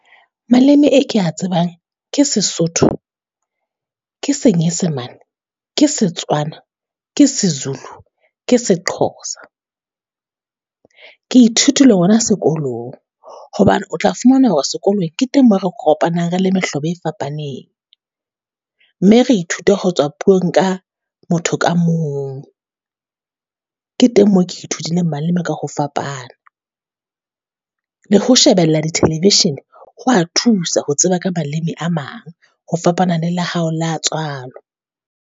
Maleme e ke ya tsebang ke Sesotho, ke Senyesemane, ke Setswana, ke Sezulu, Ke Sexhosa. Ke ithutile ona sekolong, hobane o tla fumana hore sekolong ke teng mo re kopanang re le mehlobo e fapaneng. Mme re ithute ho tswa puong ka motho ka mong, ke teng mo ke ithutileng malema ka ho fapana. Le ho shebella di-television ho wa thusa ho tseba ka baleme a mang, ho fapana e la hao la tswalo.